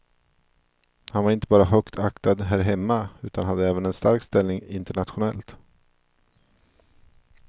Han var inte bara högt aktad här hemma utan hade även en stark ställning internationellt.